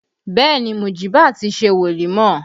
Bẹẹ ni, Mujiba ti ṣe wolimọ